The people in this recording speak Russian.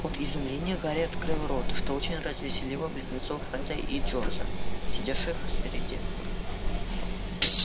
от изумления гарри открыл рот что очень развеселило близнецов фреда и джорджа сидевших спереди